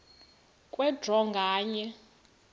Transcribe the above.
kwe draw nganye